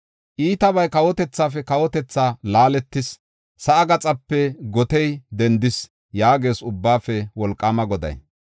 “Iitabay kawotethaafe kawotethaa laaletis; sa7aa gaxape gotey dendis” yaagees Ubbaafe Wolqaama Goday.